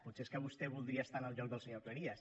potser és que vostè voldria estar en el lloc del senyor cleries